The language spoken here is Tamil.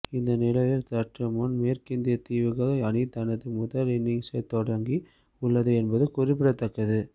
இந்த நிலையில் சற்று முன்னர் மேற்கிந்திய தீவுகள் அணி தனது முதல் இன்னிங்சை தொடங்கி உள்ளது என்பது குறிப்பிடத்தக்கது